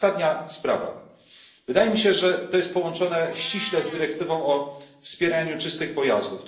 I ostatnia sprawa wydaje mi się, że jest to ściśle połączone z dyrektywą o wspieraniu czystych pojazdów.